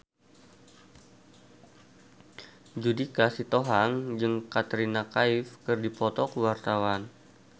Judika Sitohang jeung Katrina Kaif keur dipoto ku wartawan